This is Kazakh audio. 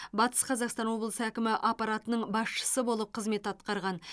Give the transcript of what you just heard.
батыс қазақстан облысы әкімі аппаратының басшысы болып қызмет атқарған